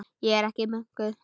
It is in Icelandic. Ég er ekki munkur.